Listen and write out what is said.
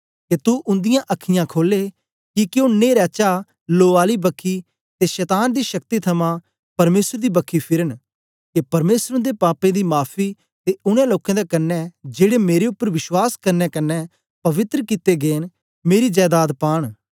के तू उन्दिआं अखां खोले किके ओ न्हेरा चा लो आली बखी ते शतान दी शक्ति थमां परमेसर दी बखी फिरन के परमेसर उन्दे पापें दी माफी ते उनै लोकें दे कन्ने जेड़े मेरे उपर विश्वास करने कन्ने पवित्र कित्ते गै न मेरी जायासत पांन